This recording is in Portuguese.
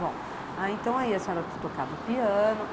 Bom, então aí a senhora tocava o piano.